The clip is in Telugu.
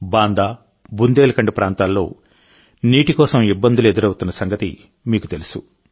బాందా బుందేల్ఖండ్ ప్రాంతాల్లో నీటి కోసం ఇబ్బందులు ఎదురవుతున్న సంగతి మీకు తెలుసు